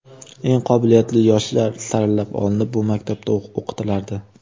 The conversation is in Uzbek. Eng qobiliyatli yoshlar saralab olinib, bu maktabda o‘qitilardi.